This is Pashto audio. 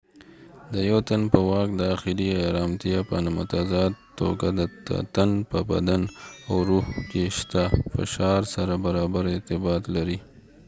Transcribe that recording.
د یو تن په واک داخلي ارامتیا په متضاد توګه د تن په بدن او روح کې شته فشار سره برابر ارتباط لري